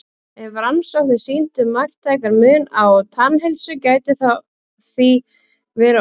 Ef rannsóknir sýndu marktækan mun á tannheilsu gæti það því verið orsökin.